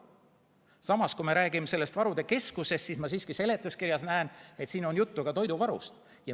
Samas, kui me räägime sellest varude keskusest, siis ma siiski seletuskirjast näen, et siin on juttu ka toiduvarust.